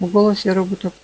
в голосе робота